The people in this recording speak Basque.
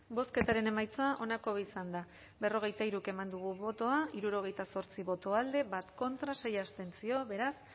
bozketaren emaitza onako izan da berrogeita hiru eman dugu bozka hirurogeita zortzi boto alde bat contra sei abstentzio beraz